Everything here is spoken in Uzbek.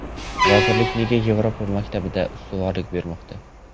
Vazirlik nega Yevropa maktabiga ustuvorlik bermoqda?